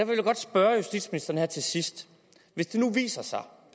vil jeg godt spørge justitsministeren her til sidst hvis det nu viser sig